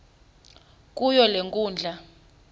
kuyo le nkundla